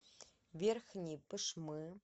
верхней пышмы